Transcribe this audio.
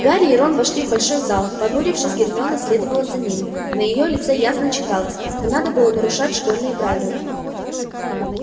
гарри и рон вошли в большой зал понурившись гермиона следовала за ними на её лице ясно читалось не надо было нарушать школьные правила